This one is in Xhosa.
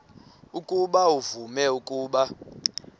ukuba uvume ukuba